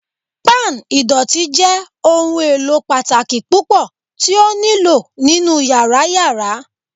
Pan idọti jẹ ohun elo pataki pupọ ti o nilo ninu yara yara